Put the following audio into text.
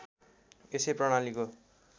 यसै प्रणालीको